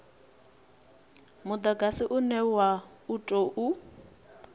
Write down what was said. mudagasi une wa u tou